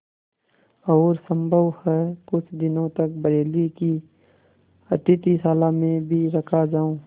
और सम्भव है कुछ दिनों तक बरेली की अतिथिशाला में भी रखा जाऊँ